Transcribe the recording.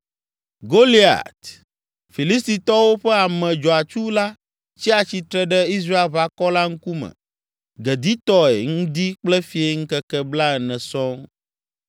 Goliat, Filistitɔwo ƒe ame dzɔatsu la tsia tsitre ɖe Israelʋakɔ la ŋkume geditɔe ŋdi kple fiẽ ŋkeke blaene sɔŋ.